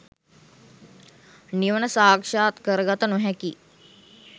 නිවන සාක්ෂාත් කරගත නොහැකි